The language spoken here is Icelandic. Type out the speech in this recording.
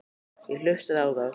Ég hlustaði á þá.